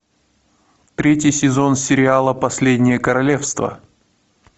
третий сезон сериала последнее королевство